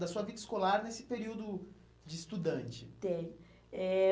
Da sua vida escolar nesse período de estudante. Eh